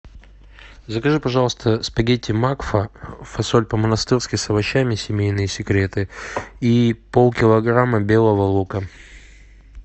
закажи пожалуйста спагетти макфа фасоль по монастырски с овощами семейные секреты и пол килограмма белого лука